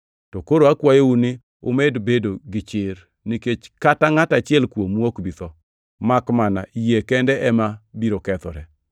To koro akwayou ni umed bedo gi chir, nikech kata ngʼat achiel kuomu ok bi tho, makmana yie kende ema biro kethore.